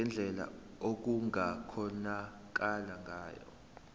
ngendlela okungakhonakala ngayo